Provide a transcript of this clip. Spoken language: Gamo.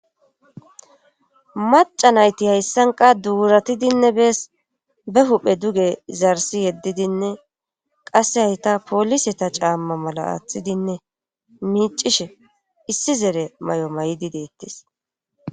Maca nayti hayssanqa duuratidinne bees be huphe duge zarsi yeddidinne qasse hayta poolise ta caamma mala aaththidinne miicishe issi zere may7o may7di deettis